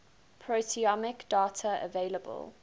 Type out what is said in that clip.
proteomic data available